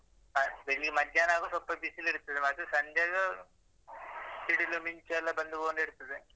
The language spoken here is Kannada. ಸಂಜೆ ಇಲ್ಲಿ ಮಧ್ಯಾಹ್ನ ಆಗುವಾಗ ಸ್ವಲ್ಪ ಬಿಸಿಲಿರ್ತದೆ ಮತ್ತೆ ಸಂಜೆಯಾಗುವಾಗ ಸಿಡಿಲು ಮಿಂಚುಯೆಲ್ಲ ಬಂದು ಹೋಗಿರ್ತದೆ